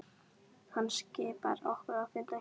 Hann skipar okkur að finna skjól.